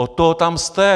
Od toho tam jste.